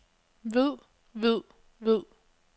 ved ved ved